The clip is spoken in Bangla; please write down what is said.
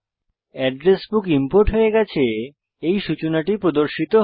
এড্রেস বুক ইম্পোর্ট হয়ে গেছে এই সূচনাটি প্রদর্শিত হয়